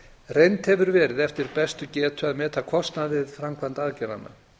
reynt hefur verið eftir bestu getu að meta kostnað við framkvæmd aðgerðanna